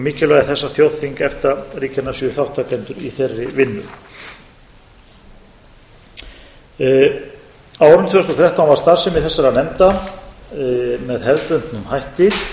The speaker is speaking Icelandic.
þess að þjóðþing efta ríkjanna séu þátttakendur í þeirri vinnu á árinu tvö þúsund og þrettán var starfsemi nefndanna með hefðbundnum hætti